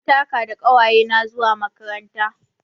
Mun taka da ƙawayena zuwa makaranta.